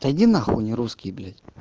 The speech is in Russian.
да иди на хуй не русский блять